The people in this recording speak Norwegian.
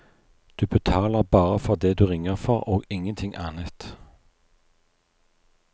Du betaler bare for det du ringer for, og ingenting annet.